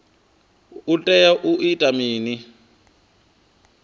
u tea u ita mini